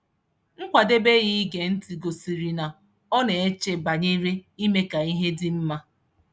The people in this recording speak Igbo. Nkwadebe ya ige ntị gosịrị n' ọ na-eche banyere ime ka ihe dị mma.